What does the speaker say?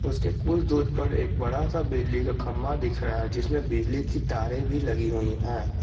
उसके कुछ दूर पर एक बड़ा सा बिजली का खंबा दिख रहा है जिसमें बिजली की तारे भी लगी हुई है।